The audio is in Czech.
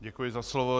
Děkuji za slovo.